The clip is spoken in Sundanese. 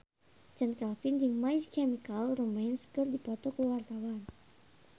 Chand Kelvin jeung My Chemical Romance keur dipoto ku wartawan